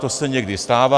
To se někdy stává.